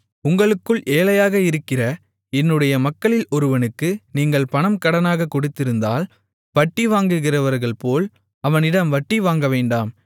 உங்களுக்குள் ஏழையாக இருக்கிற என்னுடைய மக்களில் ஒருவனுக்கு நீங்கள் பணம் கடனாகக் கொடுத்திருந்தால் வட்டிவாங்குகிறவர்கள்போல அவனிடம் வட்டி வாங்கவேண்டாம்